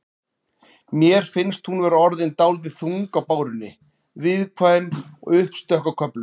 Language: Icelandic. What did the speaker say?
Mér finnst hún vera orðin dálítið þung á bárunni. viðkvæm og uppstökk á köflum.